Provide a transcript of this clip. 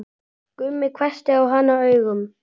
Jói hvessti á hana augun.